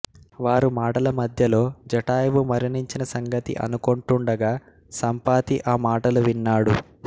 వారు మాటల మధ్యలో జటాయువు మరణించిన సంగతి అనుకొంటుండగా సంపాతి ఆ మాటలు విన్నాడు